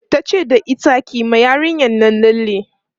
tace da ita "kiyi ma yarinyan Nan lalle!